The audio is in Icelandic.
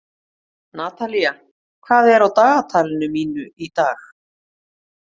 Natalía, hvað er á dagatalinu mínu í dag?